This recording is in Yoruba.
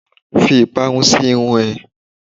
Fi ìparun sì irun ẹ!